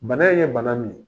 Bana in ye bana min ye